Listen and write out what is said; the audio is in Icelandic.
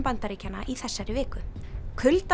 Bandaríkjanna í þessari viku